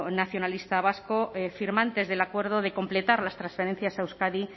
nacionalista vasco firmantes del acuerdo de completar las transferencias a euskadi